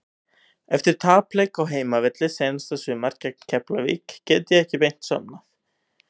Eftir tapleik á heimavelli seinasta sumar gegn Keflavík gat ég ekki beint sofnað.